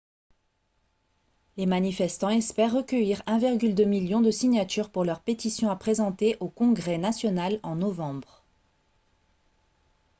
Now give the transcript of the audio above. les manifestants espèrent recueillir 1,2 million de signatures pour leur pétition à présenter au congrès national en novembre